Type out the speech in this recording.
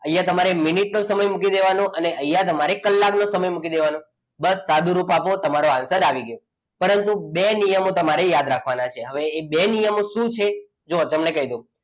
અહીંયા તમારે મિનિટનો સમય મૂકી દેવાનો છે અને અહીંયા તમારે કલાકનો સમય મૂકી દેવાનો. બસ સાદો રૂપ આપો તમારે આન્સર આવી ગયો. પરંતુ બે નિયમો તમારે યાદ રાખવાના છે હવે એ બે નિયમો શું છે જો તમને કહી દઉં.